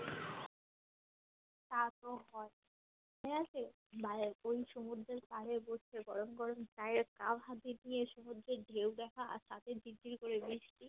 তা তো হয় ঠিক আছে বা ওই সমুদ্রের পাড়ে বসে গরম গরম চায়ের কাপ হাতে নিয়ে সমুদ্রের ঢেউ দেখা আর সাথে করে বৃষ্টি